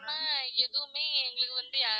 ஆனா எதுவுமே எங்களுக்கு வந்து